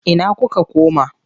Ina kuka koma?